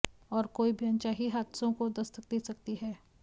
और कोई भी अनचाही हादसों को दस्तक दे सकती है